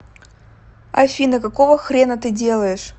афина какого хрена ты делаешь